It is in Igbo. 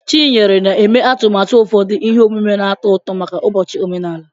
Chinyere na-eme atụmatụ ụfọdụ ihe omume na-atọ ụtọ maka ụbọchị omenala.